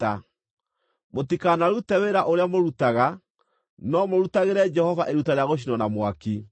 Mũtikanarute wĩra ũrĩa mũrutaga, no mũrutagĩre Jehova iruta rĩa gũcinwo na mwaki.’ ”